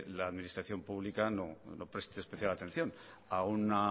la administración pública no preste especial atención a una